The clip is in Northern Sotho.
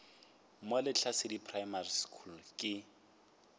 mo lehlasedi primary school ke